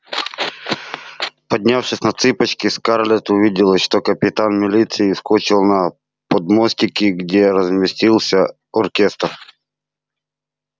поднявшись на цыпочки скарлетт увидела что капитан милиции вскочил на подмостики где разместился оркестр